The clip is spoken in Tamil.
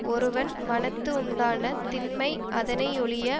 ஒருவன் மனத்து உண்டான திண்மை அதனையொழிய